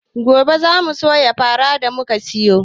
Gobe zamu soya farar da muka siyo